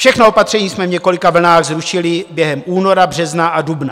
Všechna opatření jsme v několika vlnách zrušili během února, března a dubna.